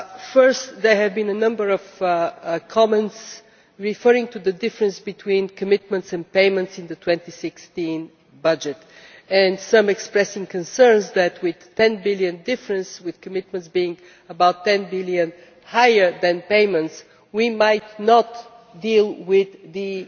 First, there were a number of comments referring to the difference between commitments and payments in the 2016 budget and some expressing concerns that, a with EUR 10 billion difference with commitments being about EUR 10 billion higher than payments we might not deal with the